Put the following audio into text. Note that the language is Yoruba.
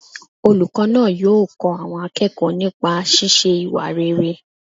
Olùkọ́ náà yóò kọ́ àwọn akẹ́kọ̀ọ́ nipa sísé ìwà rere